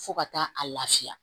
Fo ka taa a lafiya